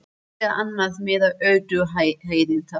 Hver er annars meðal ölduhæðin þar?